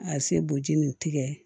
A se boji nin tigɛ